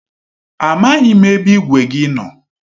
A maghị m ebe igwe gị nọ.